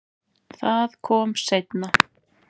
Það kom seinna